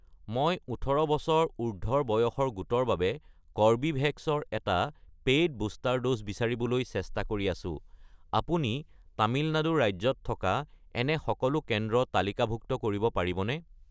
মই ১৮ বছৰ উৰ্ধ্বৰ বয়সৰ গোটৰ বাবে কৰ্বীভেক্স ৰ এটা পে'ইড বুষ্টাৰ ড'জ বিচাৰিবলৈ চেষ্টা কৰি আছোঁ, আপুনি তামিলনাডু ৰাজ্যত থকা এনে সকলো কেন্দ্ৰ তালিকাভুক্ত কৰিব পাৰিবনে?